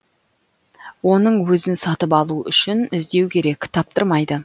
оның өзін сатып алу үшін іздеу керек таптырмайды